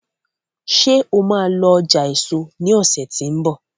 ṣe o má lọ ọjà eso lọsẹ ti n bọ